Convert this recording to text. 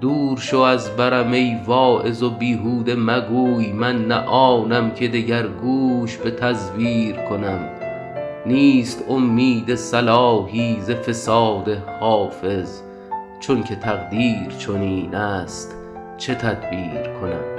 دور شو از برم ای واعظ و بیهوده مگوی من نه آنم که دگر گوش به تزویر کنم نیست امید صلاحی ز فساد حافظ چون که تقدیر چنین است چه تدبیر کنم